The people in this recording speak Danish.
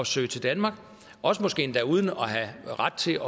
søge til danmark også måske endda uden at have ret til